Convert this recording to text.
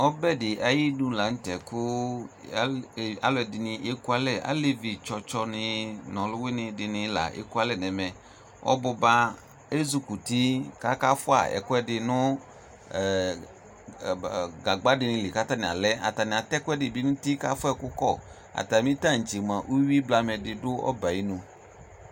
Ɔbɛ di ayinʋ la nʋ tɛ kʋ alʋɛdini ekualɛ Alevi tsɔtsɔ ni nʋ alʋwini di ni la ekualɛ nɛmɛ Ɔbʋba ezukuti kʋ akafua ɛkuɛdi nʋ ɛ gagba di ni li kʋ atani alɛ Atani atɛ ɛkuɛdi ni bi nʋ uti kʋ afua ɛkʋ kɔ Atami tantse moa uwi blamɛ di dʋ ɔbɛ yɛ ayinu